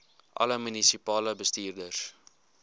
alle munisipale bestuurders